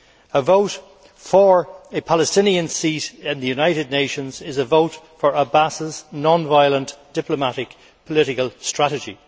A vote for a Palestinian seat in the United Nations is a vote for Abbas's non violent diplomatic political strategy.